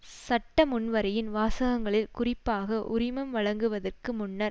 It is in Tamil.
சட்ட முன்வரைவின் வாசகங்களில் குறிப்பாக உரிமம் வழங்குவதற்கு முன்னர்